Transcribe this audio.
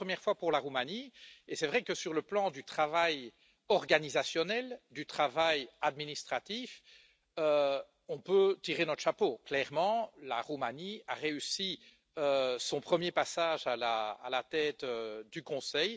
C'était la première fois pour la Roumanie et c'est vrai que, sur le plan du travail organisationnel, du travail administratif, on peut tirer notre chapeau clairement, la Roumanie a réussi son premier passage à la tête du Conseil.